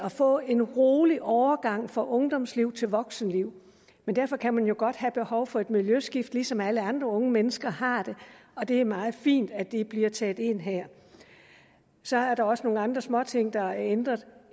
at få en rolig overgang fra ungdomsliv til voksenliv men derfor kan man jo godt have behov for et miljøskift ligesom alle andre unge mennesker har det og det er meget fint at det bliver taget med ind her så er der også nogle andre småting der er blevet ændret